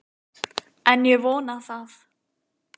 En ég vona það.